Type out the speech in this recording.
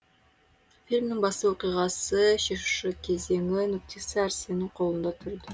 фильмнің басты оқиғасы шешу кезеңі нүктесі арсеннің қолында тұрды